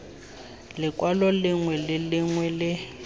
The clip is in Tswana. lekwalo lengwe le lengwe le